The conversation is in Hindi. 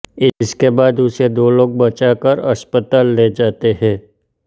इसके बाद उसे दो लोग बचाकर अस्पताल ले जाते हैं